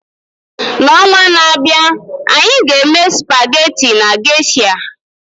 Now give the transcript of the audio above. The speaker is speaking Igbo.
N'ọnwa na-abịa, anyị ga-eme spaghetti na Geisha.